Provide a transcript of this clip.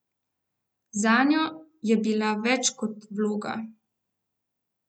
Zanjo je bila več kot vloga.